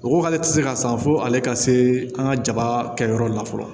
O ko k'ale ti se ka san fo ale ka se an ka jaba kɛ yɔrɔ la fɔlɔ